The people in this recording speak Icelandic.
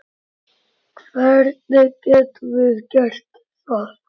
Hvernig getum við gert það?